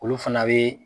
Olu fana bɛ